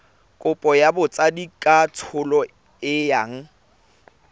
kopo ya botsadikatsholo e yang